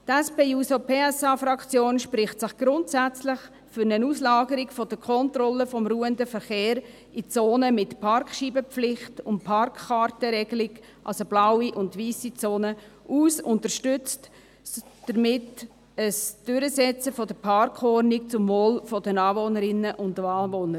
Die SP-JUSO-PSA-Fraktion spricht sich grundsätzlich für eine Auslagerung der Kontrolle des ruhenden Verkehrs in Zonen mit Parkscheibenpflicht und Parkkartenregelung aus, also der blauen und weissen Zone, und unterstützt damit das Durchsetzen der Parkordnung zum Wohle der Anwohnerinnen und Anwohner.